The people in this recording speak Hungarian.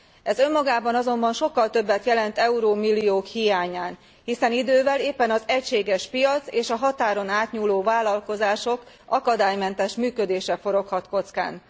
Ez önmagában azonban sokkal többet jelent euró milliók hiányán, hiszen idővel éppen az egységes piac és a határon átnyúló vállalkozások akadálymentes működése foroghat kockán.